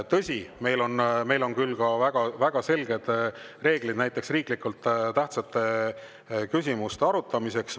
Tõsi, meil on küll väga selged reeglid näiteks riiklikult tähtsate küsimuste arutamiseks.